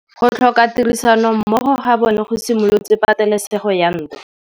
Go tlhoka tirsanommogo ga bone go simolotse patêlêsêgô ya ntwa.